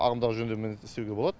ағымдағы жөндеумен істеуге болады